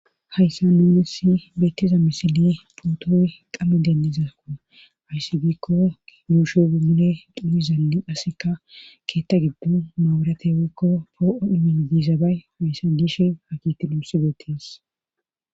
hayssa nuunessi beettiza misili putooy qame denniza ko ayssi giikko yuushe umule xuni zalli asseka keetta giddu maawurate woykko poo7o iminidizabay woyssa diish ha kiti luussi beettis